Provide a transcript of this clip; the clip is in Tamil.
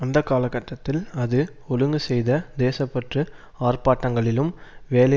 அந்த காலகட்டத்தில் அது ஒழுங்கு செய்த தேச பற்று ஆர்ப்பாட்டங்களிலும் வேலை